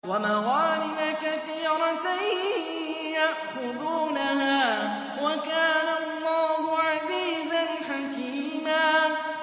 وَمَغَانِمَ كَثِيرَةً يَأْخُذُونَهَا ۗ وَكَانَ اللَّهُ عَزِيزًا حَكِيمًا